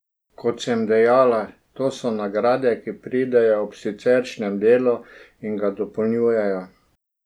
Kot sem dejala, to so nagrade, ki pridejo ob siceršnjem delu in ga dopolnjujejo.